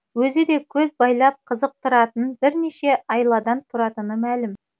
өзіде көз байлап қызықтыратын бірнеше айладан тұратыны мәлім